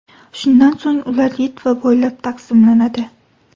Shundan so‘ng ular Litva bo‘ylab taqsimlanadi.